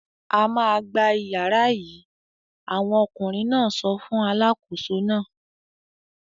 "A máa gba ìyàrá yìí!" Àwọn ọkùnrin náà sọ fún alákòóso náà.